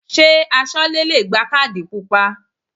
Ṣé Aṣọ́lẹ́ le gba kádì pupa?